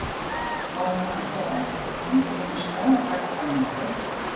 Þá er hann allavega ekki að kíkja inn um skráargatið hjá mér á kvöldin.